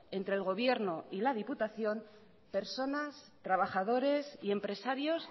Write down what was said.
entre el gobierno y la diputación personas trabajadores y empresarios